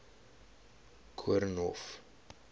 koornhof